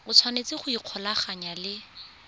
o tshwanetse go ikgolaganya le